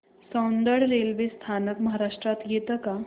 Soundad railway स्थानक महाराष्ट्रात येतं का